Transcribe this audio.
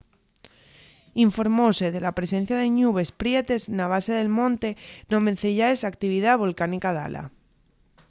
informóse de la presencia de ñubes prietes na base del monte non venceyaes a actividá volcánica dala